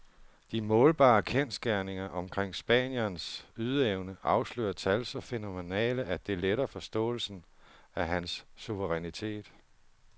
De målbare kendsgerninger omkring spanierens ydeevne afslører tal så fænomenale, at det letter forståelsen af hans suverænitet.